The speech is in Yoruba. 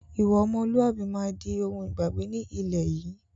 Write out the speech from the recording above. Ìwà ọmọlúwàbí máa di òun ìgbàgbé ni ilẹ̀ yìí